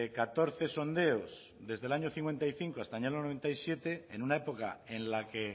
catorce sondeos desde el año cincuenta y cinco hasta el año noventa y siete en una época en la que